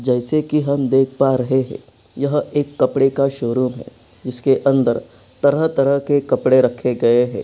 जैसे कि हम देख पा रहे है यह एक कपड़े का शोरुम है जिसके अंदर तरह-तरह के कपड़े रखे गए है।